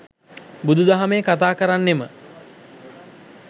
බුදු දහමේ කතාකරන්නෙම